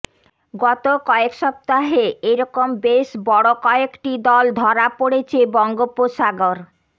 গত কয়েক সপ্তাহে এ রকম বেশ বড় কয়েকটি দল ধরা পড়েছে বঙ্গোপসাগর